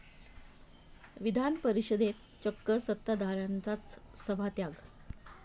विधान परिषदेत चक्क सत्ताधाऱ्यांचाच सभात्याग